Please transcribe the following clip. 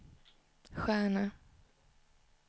stjärna